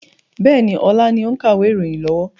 Bẹ́ẹ̀ni, ọlá ni ó ń kàwé ìròyìn lọ́wọ́.